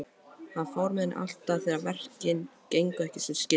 Þannig fór henni alltaf þegar verkin gengu ekki sem skyldi.